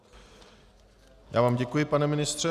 Já vám děkuji, pane ministře.